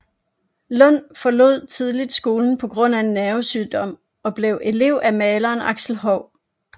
Lund forlod tidligt skolen på grund af en nervesygdom og blev elev af maleren Axel Hou